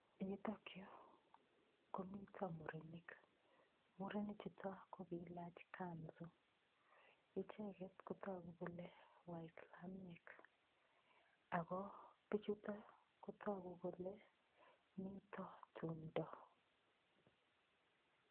Nitok yu komiten murenik, murenik chuto ko keilach kanzu. Icheget kotogu kole waislamiek ago pichuto kotogu kole miten tumdo.